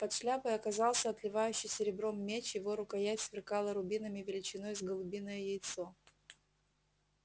под шляпой оказался отливающий серебром меч его рукоять сверкала рубинами величиной с голубиное яйцо